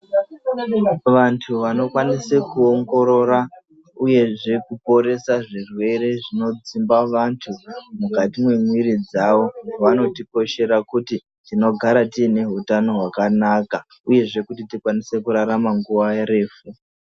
Vantu vanokwanise, kuongorora uyezve kuponesa zvirwere zvinodzimba vantu mukati memwiri dzavo, vanotikoshera kuti tinogara tiine hutano hwakanaka uye kuti tikwanise kurarama nguwa refu.